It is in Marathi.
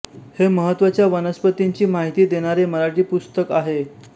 हे महत्त्वाच्या वनस्पतींची माहिती देणारे मराठी पुस्तक आहे